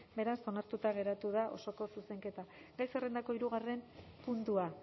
beraz onartuta geratu da osoko zuzenketa gai zerrendako hirugarren puntua